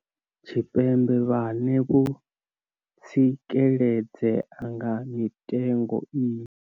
Tshipembe vhane vho tsikeledzea nga mitengo iyi.